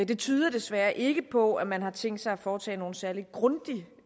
det tyder desværre ikke på at man har tænkt sig at foretage nogen særlig grundig